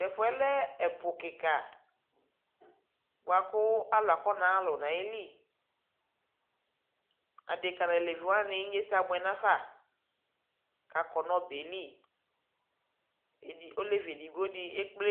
Tɛfuɛ lɛ ɛpuu kika buaku aluakɔnaluu nayili adeka naleviwani ɛsɛabuɛ nava kakɔ nɔbɛli olevi edigbodi